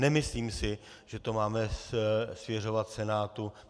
Nemyslím si, že to máme svěřovat Senátu.